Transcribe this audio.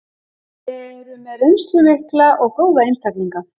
Eru með reynslu mikla og góða einstaklinga.